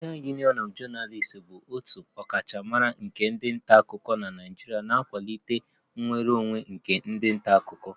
Nigerian Union of Journalists (NUJ) bụ otu ọkachamara nke ndị nta akụkọ na Naịjirịa na-akwalite nnwere onwe nke ndị nta akụkọ